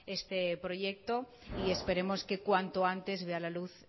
este proyecto y esperemos que cuanto antes vea la luz